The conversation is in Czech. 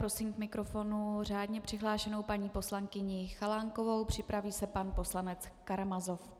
Prosím k mikrofonu řádně přihlášenou paní poslankyni Chalánkovou, připraví se pan poslanec Karamazov.